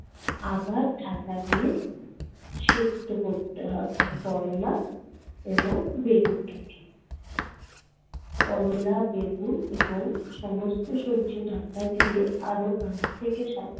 আবার ঢাকা দিয়ে সেদ্ধ করতে হবে করলা এবং বেগুনটাকে। করলা, বেগুন এবং সমস্ত সবজি ঢাকা দিয়ে আরও পাঁচ থেকে সাত